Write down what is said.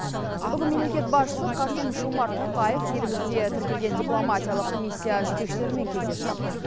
бүгін мемлекет басшысы қасым жомарт тоқаев елімізде тіркелеген дипломатиялық миссия жетекшілерімен кездесті